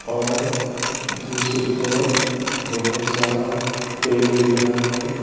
और दूसरी तरफ बहुत सारा पेड़ दिख रहा है।